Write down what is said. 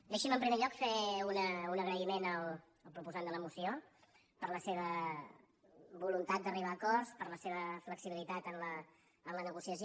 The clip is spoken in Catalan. deixin me en primer lloc fer un agraïment al proposant de la moció per la seva voluntat d’arribar a acords per la seva flexibilitat en la negociació